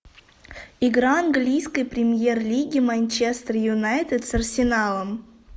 игра английской премьер лиги манчестер юнайтед с арсеналом